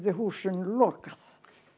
húsinu lokað